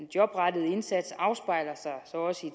jobrettede indsats afspejler sig så også i